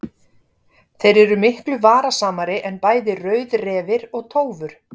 Þeir eru miklu varasamari en bæði rauðrefir og tófur.